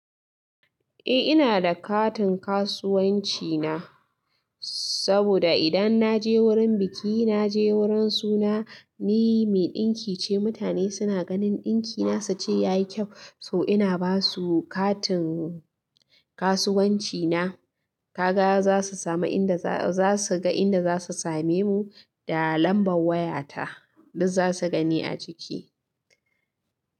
Eh ina da katin kasuwanci na, saboda idan na je wurin biki, na je wurin suna, ni mai ɗinki ce. Mutane suna ganin ɗinki na su ce ya yi kyau, so ina ba su katin kasuwanci na. Ka ga za su samu inda za su ga inda za su same mu da lambar waya ta. Duk za su gani a ciki.